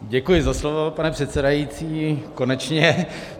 Děkuji za slovo, pane předsedající, konečně.